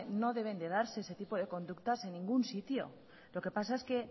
no deben de darse ese tipo de conductas en ningún sitio lo que pasa es que